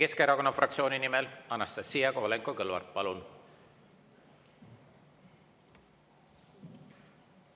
Eesti Keskerakonna fraktsiooni nimel Anastassia Kovalenko-Kõlvart, palun!